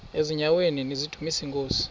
eziaweni nizidumis iinkosi